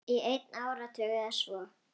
Í einn áratug eða svo.